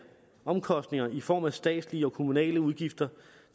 omkostninger i form af statslige og kommunale udgifter